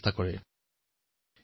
সকলো সংস্থাৰ সৈতে সাক্ষাৎ কৰিছিল